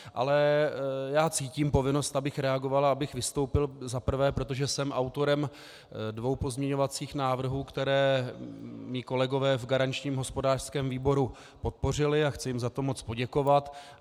Ale já cítím povinnost, abych reagoval a abych vystoupil za prvé, protože jsem autorem dvou pozměňovacích návrhů, které mí kolegové v garančním hospodářském výboru podpořili, a chci jim za to moc poděkovat.